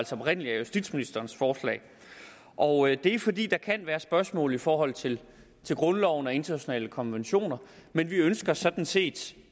som oprindelig er justitsministerens forslag og det er fordi der kan være spørgsmål i forhold til grundloven og internationale konventioner men vi ønsker sådan set